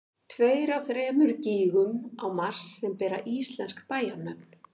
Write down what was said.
tveir af þremur gígum á mars sem bera íslensk bæjarnöfn